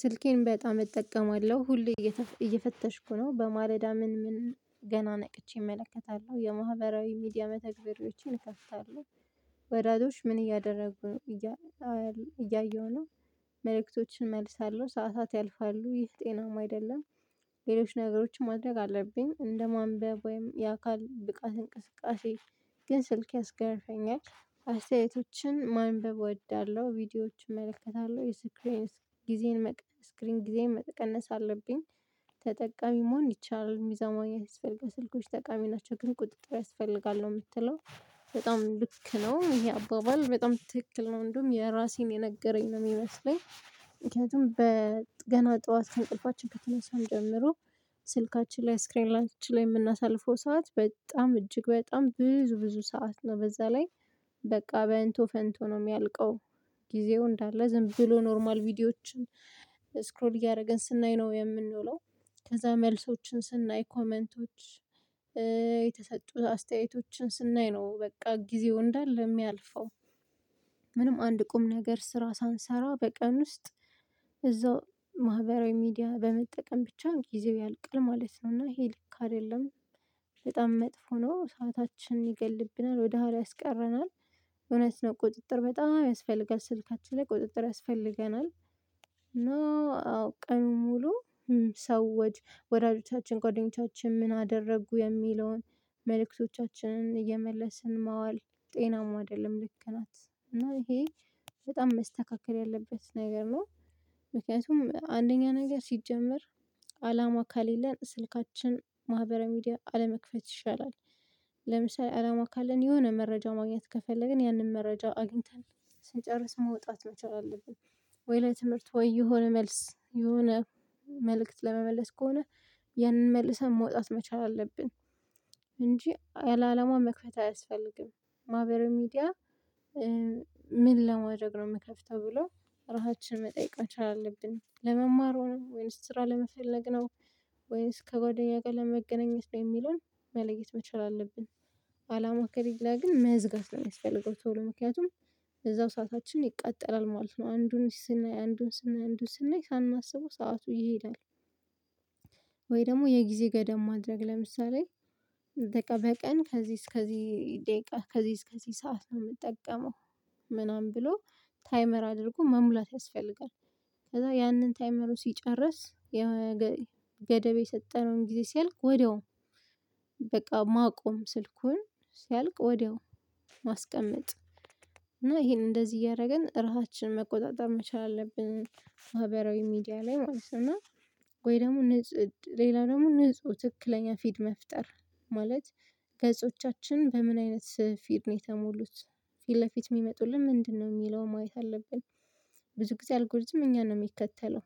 ስልኬን በጣም እጠቀማለሁ ሁሌ እየፈተሽኩ ነው በማለዳ ምን ምን ገና ነቅቼ እመለከታለሁ የማህበራዊ ሚዲያ መተግበሪዎችን እከፍታለሁ ወዳጆች ምን እያደረጉ እያየሁ ነው። መልእክቶችን እመልሳለሁ ሰዓታት ያልፋሉ ይህ ጤናማ አይደለም። ሌሎች ነገሮችን ማድረግ አለብኝ እንደ ማንበብ ወይም የአካል ብቃት እንቅስቃሴ። ግን ስልክ ያስገርፈኛል አስተያየቶችን ማንበብ እወዳለሁ ቪዲዮዎችን እመለከታለሁ የስክሪንስ ጊዜን ጊዜን መቀነስ አለብኝ። ተጠቃሚ መሆን ይቻላል የሚሰማኝ ማግኘት የሚፈልገው ስልኮች ጠቃሚ ናቸው ግን ቁጥጥር ያስፈልጋል ነው የምትለው። በጣም ልክ ነው ይሄ አባባል በጣም ትክክል ነው እንደውም የራሴን የነገረኝ ነው የሚመስለኝ። ምክንያቱም በገና ጠዋት እንቅልፋችንችን ከተነሳን ጀምሮ ስልካችን ላይ ስክራይላንቶች ላይ የምናሳልፈው ሰዓት በጣም እጅግ በጣም ብዙ ብዙ ሰዓት ነው በዛ ላይ። በቃ በእንቶ ፈንቶ ነው የሚያልቀው ጊዜው እንዳለ ዝም ብሎ ኖርማል ቪዲዮዎችን ስክሮል እያደረግን ስናይ ነው የምንውለው። ከዛ መልሶችን ስናይ ኮሜንቶች የተሰጡን አስተያየቶችን ስናይ ነው በቃ ጊዜው እንዳለ የሚያልፈው። ምንም አንድ ቁም ነገር ስራ ሳንሰራ በቀን ውስጥ እዛው ማህበራዊ ሚዲያ በመጠቀም ብቻ ጊዜው ያልቅል ማለት ነው እና ይሄ ልክ አይደለም። በጣም መጥፎ ነው ሰዓታችን ይገልብናል ወደ ኋላ ያስቀረናል። እውነት ነው ቁጥጥር በጣም ያስፈልጋል ስልካችን ላይ ቁጥጥር ያስፈልገናል። አዎ ቀኑን ሙሉ ሰዎች ወዳጆቻችን ንደኞቻችን ምን አደረጉ የሚለውን መልእክቶቻችንን የመለስን ማዋል ጤናማ አይደለም ልክ ናት እና ይሄ በጣም መስተካከል ያለበት ነገር ነው። ምክንያቱም አንደኛ ነገር ሲጀመር አላማ ከሌለን ስልካችን ማህበራዊ ሚዲያ አለመክፈት ይሻላል። ለምሳሌ አላማ ካለን የሆነ መረጃ ማግኘት ከፈለግን ያንን መረጃ አግኝተን ስንጨርስ መውጣት መቻል አለብን። ወይ ለትምህርት ወይ የሆነ መልስ የሆነ መልእክት ለመመለስ ከሆነ ያንን መልሰን መውጣት መቻል አለብን። እንጂ አላ አላለማ መክፈት አያስፈልግም። ማህበር ሚዲያ ምን ለማድረግ ነው ምከፍተው ተብሎ ራሳችንን መጠየቅ መቻል አለብን ለመማሩ ነው ወይንስ ስራ ለመፈለግ ነው። ወይስ ከጓደኛ ጋር ለመገናኘት ላይ የሚለውን መለየት መቻል አለብን። አላማ ከሌለ ግን መዝጋት ነው የሚያስፈልገው ቶሎ ምክንያቱም እዛው ሰዓታችን ይቃጠላል ማለት ነው አንዱን ስናይ አንዱን ስናይ አንዱን ስናይ ሳናስበው ሰዓቱ ይሄዳል። ወይ ደግሞ የጊዜ ገደብ ማድረግ ለምሳሌ በቀን ከዚህ እስከዚህ ደቂቃ ከዚህ እስከዚህ ሰዓት ነው የምጠቀመው። ምናምን ብሎ ታይመር አድርጎ መሙላት ያስፈልጋል። ከዛ ያንን ታይመሩ ሲጨርስ የገደብ ገደብ የሰጠነውን ጊዜ ሲያልቅ ወዲያውኑ በቃ ማቆም ስልኩን ሲያልቅ ወዲያው ማስቀመጥ እና ይሄን እንደዚህ እያደረገን ራሳችንን መቆጣጠር መቻል አለብን። ማህበራዊ ሚዲያ ላይ ማለት ነው። ወይ ደግሞ ንጹህ ሌላ ደግሞ ንጹህ ትክክለኛ ፊት መፍጠር ማለት ገጾቻችን በምን አይነት ፊድ ነው የተሞሉት ፊት ለፊት የሚመጡልን ምንድነው የሚለውን ማየት አለብን። ብዙ ጊዜ አልጎሪዝም እኛ ነው የሚከተለው።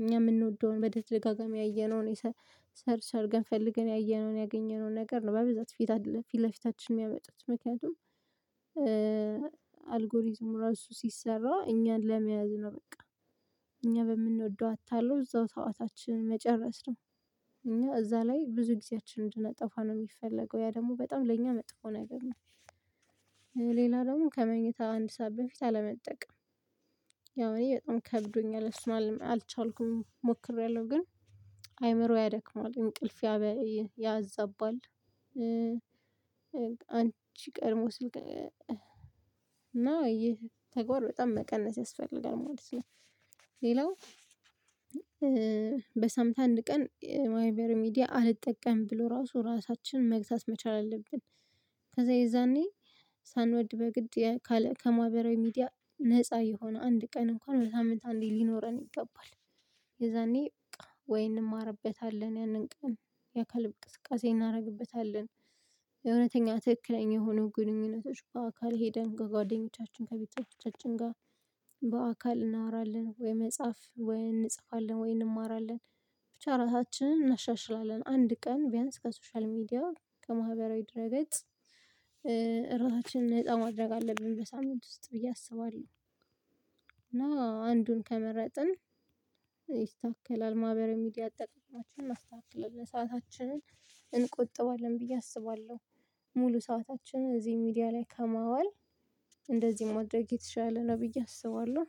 እኛ የምንወደውን በተደጋጋሚ ያየነውን ሰርች አድርገን ፈልገን ያየነውን ያገኘነውን ነገር ነው በብዛት ፊት አይደለም ፊት ለፊታችን የሚያመጡት ምክንያቱም። አልጎሪዝም ራሱ ሲሰራ እኛን ለመያዝ ነው በቃ እኛ በምንወደው አታለው እዛው ሰአታችንን መጨረስ ነው። እኛ እዛ ላይ ብዙ ጊዜያችንን እንድነጠፋ ነው የሚፈለገው ያ ደግሞ በጣም ለእኛ መጥቶ ነገር ነው። ሌላ ደግሞ ከመኝታ አንድ ሰዓት በፊት አለመጠቀም ያው እኔ በጣም ከብዶኛል እሱን አልቻልኩም ሞክሬያለሁ ግን አይምሮ ያደክማል እንቅልፍ ያዛባል። አንቺ ቀድሞ ስልክ እና ይሄ ተግባር በጣም መቀነስ ያስፈልጋል ማለት ነው። ሌላው በሳምንት አንድ ቀን የማህበራዊ ሚዲያ አልጠቀምም ብሎ ራሱ ራሳችንን መግዛት መቻል አለብን። ከዛ የዛኔ ሳንወድ በግድ ከማህበራዊ ሚዲያ ነፃ የሆነ አንድ ቀን እንኳን በሳምንት አንድ ቀን ሊኖረን ይገባል። የዛኔ በቃ ወይ እንማርበታለን ያንን ቀን የአካል እንቅስቃሴ እናደርግበታለን። የእውነተኛ ትክክለኛ የሆነው ግንኙነቶች በአካል ሄደን ጓደኞቻችን ከቤቶቻችን ጋር በአካል እናወራለን ወይ መጽሐፍ ወይ እንጽፋለን ወይ እንማራለን። ብቻ ራሳችንን እናሻሽላለን አንድ ቀን ቢያንስ ከሶሻል ሚዲያ ከማህበራዊ ድረገፅ እራሳችንን ነፃ ማድረግ አለብን በሳምንት ውስጥ ብዬ አስባለሁ። እና አንዱን ከመረጥን ይስተካከላል ማህበራዊ ሚዲያ አጠቃቀማችን ማስተካከል ሰዓታችን እንቆጥባለን ብዬ አስባለሁ። ሙሉ ሰዓታችን እዚህ ሚዲያ ላይ ከማዋል እንደዚህ ማድረግ የተሻለ ነው ብዬ አስባለሁ።